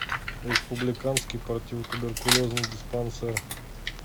республиканский противотуберкулезный диспансер